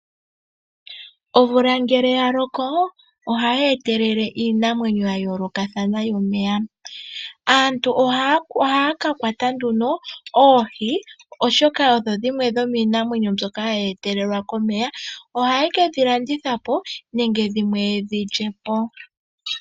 Omvula ngele ya loko ohayi etelele iinamwenyo ya yoolokathana yo momeya. Aantu ohaya ka kwata nduno oohi oshoka odho dhimwe dhomiinamwenyo mbyoka hayi etelelwa komeya. Oha ye kedhi landithapo nenge dhimwe yedhi lyepo.